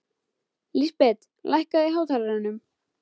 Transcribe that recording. Lísbet, lækkaðu í hátalaranum.